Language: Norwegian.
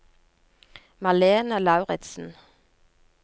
Malene Lauritsen